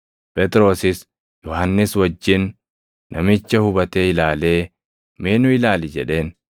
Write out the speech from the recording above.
Phexrosis Yohannis wajjin namicha hubatee ilaalee, “Mee nu ilaali!” jedheen.